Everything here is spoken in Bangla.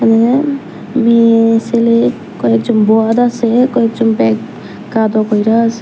মেয়ে ছেলে কয়েকজন আছে কয়েকজন ব্যাগ কাঁদো কইরা আছে।